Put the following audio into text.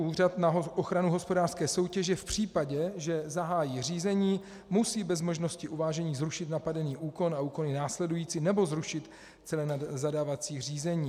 Úřad na ochranu hospodářské soutěže v případě, že zahájí řízení, musí bez možnosti uvážení zrušit napadený úkon a úkony následující nebo zrušit celé zadávací řízení.